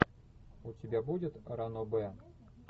у тебя будет ранобэ